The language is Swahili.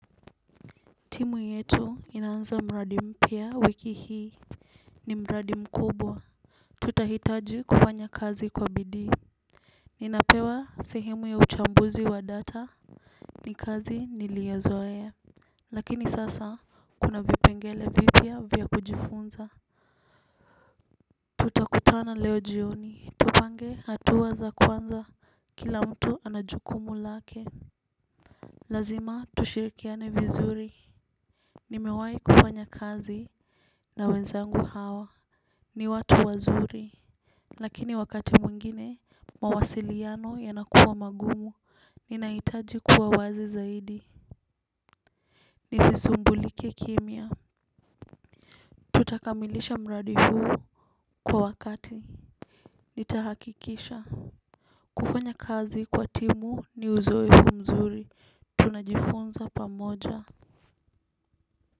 Timu yetu inaanza mradi mpya wiki hii. Ni mradi mkubwa. Tutahitaji kufanya kazi kwa bidii. Ninapewa sehemu ya uchambuzi wa data ni kazi niliozoea ya lakini sasa kuna vipengele vipya vya kujifunza. Tutakutana leo jioni tupange hatua za kuanza kila mtu ana jukumu lake. Lazima tushirikiane vizuri. Nimewahi kufanya kazi na wenzangu hawa. Ni watu wazuri. Lakini wakati mwingine mawasiliano yanakuwa magumu ninahitaji kuwa wazi zaidi. Nisisumbulike kimya. Tutakamilisha mradi huu kwa wakati. Nitahakikisha. Kufanya kazi kwa timu ni uzoefu huu mzuri. Tunajifunza pamoja. Kwa hivyo.